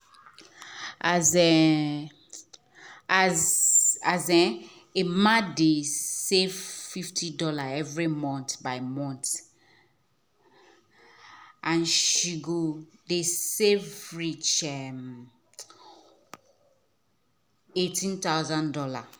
as as um emma dey um save 50 dollar every month by month end she go doh save reach um 18000 dollars.